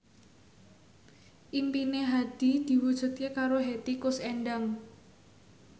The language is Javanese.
impine Hadi diwujudke karo Hetty Koes Endang